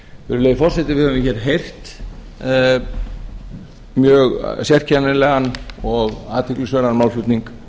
virðulegi forseti við höfum hér heyrt mjög sérkennilegan og athyglisverðan málflutning